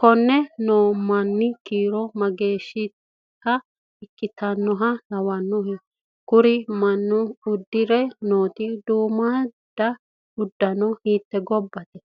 konne noo manni kiiro mageeshsha ikkitannoha lawannohe? kuri manni uddire nooti budu uddano hiitte gobbate.